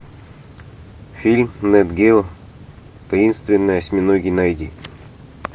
фильм нат гео таинственные осьминоги найди